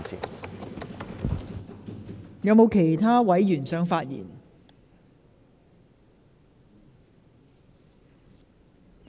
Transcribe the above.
是否有其他委員想發言？